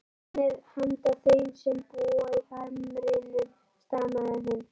Hann er handa þeim sem búa í hamrinum stamaði hún.